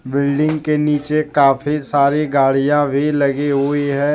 Building के नीचे काफी सारी गाड़ियां भी लगी हुई है।